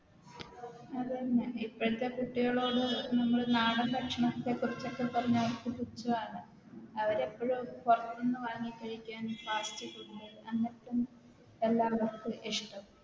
അതെന്നെ ഇപ്പഴ്ത്തെ കുട്ടികളോട് നമ്മള് നാടൻ ഭക്ഷണത്തെക്കുറിച്ചോടെ പറഞ്ഞ അവർക്ക് പൂച്ചാണ് അവരെപ്പഴും പൊറത്ത്ന്ന് വാങ്ങി കഴിക്കാൻ Fast food അങ്ങൻത്തെ എല്ലാം അവർക്ക് ഇഷ്ട്ടം